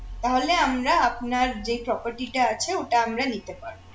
তাহলে আমরা আপনার যেই property টা আছে ওটা আমরা নিতে পারব